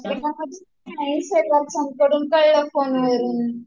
hospital मध्ये नाही दुसऱ्यांकडून कळलं फोन वरून